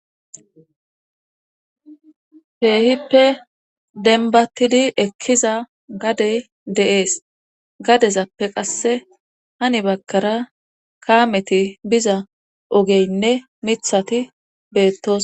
Keehippe denbattidi ekkiza gaddey de'ees gaddezappe qasse hani baggara kaameti biza oogeynne miiththati beettosona